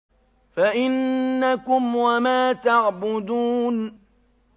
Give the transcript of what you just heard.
فَإِنَّكُمْ وَمَا تَعْبُدُونَ